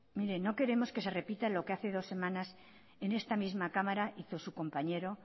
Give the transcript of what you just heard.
mire no queremos que se repita lo que hace dos semanas en esta misma cámara hizo su compañero